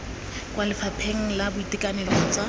kwa lefapheng la boitekanelo kgotsa